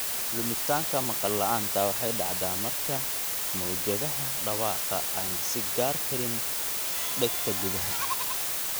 Lumitaanka maqal la'aanta waxay dhacdaa marka mowjadaha dhawaaqa aysan gaari karin dhegta gudaha.